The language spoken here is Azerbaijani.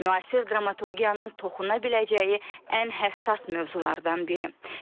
Müasir dramaturgiyanın toxuna biləcəyi ən həssas mövzulardan biri.